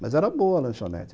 Mas era boa a lanchonete.